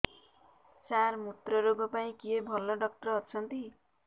ସାର ମୁତ୍ରରୋଗ ପାଇଁ କିଏ ଭଲ ଡକ୍ଟର ଅଛନ୍ତି